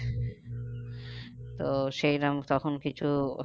তো সেইরম তখন কিছু